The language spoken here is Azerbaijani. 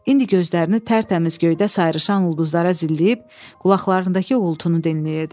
İndi gözlərini tərtəmiz göydə sayrışan ulduzlara zilləyib, qulaqlarındakı uğultunu dinləyirdi.